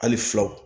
Hali filaw